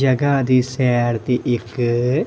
ਜਗਾ ਦੀ ਸੈਰ ਦੀ ਇੱਕ--